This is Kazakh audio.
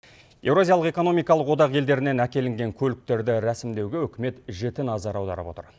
еуразиялық экономиалық одақ елдерінен әкелінген көліктерді рәсімдеуге үкімет жіті назар аударып отыр